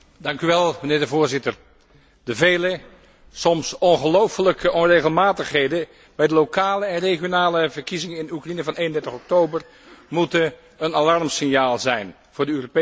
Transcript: Voorzitter, de vele, soms ongelooflijke onregelmatigheden bij de lokale en regionale verkiezingen in Oekraïne van 31 oktober moeten een alarmsignaal zijn voor de Europese Unie.